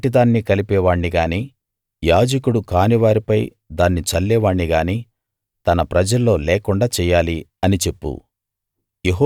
దాని వంటి దాన్ని కలిపే వాణ్ణి గానీ యాజకుడు కాని వారిపై దాన్ని చల్లే వాణ్ణి గానీ తన ప్రజల్లో లేకుండా చెయ్యాలి అని చెప్పు